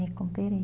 Recuperei.